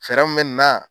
Fɛɛrɛ mun bɛ na